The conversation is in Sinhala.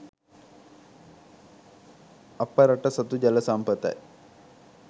අප රට සතු ජල සම්පතයි